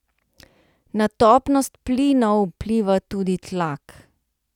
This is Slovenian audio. Na topnost plinov vpliva tudi tlak.